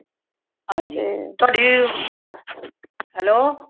ਹਨਜੀ ਤੁਹਾਡੀ hello